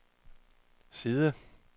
side